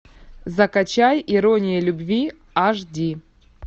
закачай ирония любви аш ди